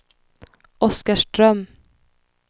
Oskarström